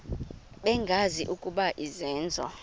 bengazi ukuba izenzo